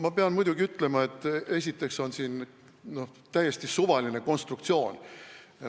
Ma pean muidugi ütlema, et esiteks oli see täiesti suvaline konstruktsioon.